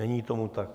Není tomu tak.